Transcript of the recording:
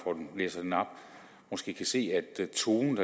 måske kan se at tonen